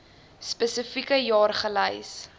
spesifieke jaar gelys